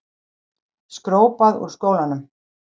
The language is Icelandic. Skrópað úr skólanum.